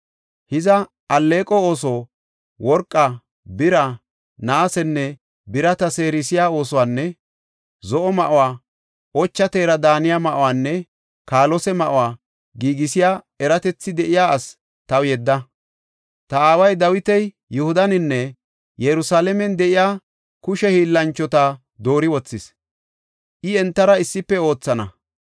“Hiza alleeqo ooso, worqa, bira, naasenne birata seerisiya oosuwanne zo7o ma7uwa, ocha teera daaniya ma7uwanne kaalose ma7uwa giigisiya eratethi de7iya ase taw yedda. Ta aaway Dawiti Yihudaninne Yerusalaamen de7iya kushe hiillanchota doori wothis; I entara issife oothana.